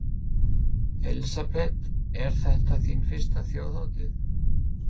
Elísabet: Er þetta þín fyrsta Þjóðhátíð?